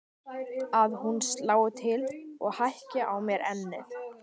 Að hún slái til og hækki á mér ennið.